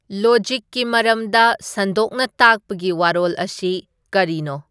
ꯂꯣꯖꯤꯛꯀꯤ ꯃꯔꯝꯗ ꯁꯟꯗꯣꯛꯅ ꯇꯥꯛꯄꯒꯤ ꯋꯥꯔꯣꯜ ꯑꯁꯤ ꯀꯔꯤꯅꯣ